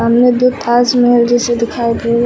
सामने दो ताजमहल जैसे दिखाई दे रहे